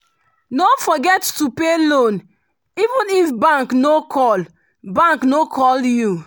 no forget to pay loan even if bank no call bank no call you.